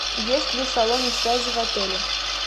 есть ли салоны связи в отеле